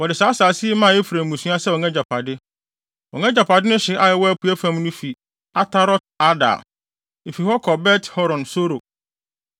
Wɔde saa asase yi maa Efraim mmusua sɛ wɔn agyapade. Wɔn agyapade no hye a ɛwɔ apuei fam no fi Atarot-Adar. Efi hɔ kɔ Bet-Horon Soro,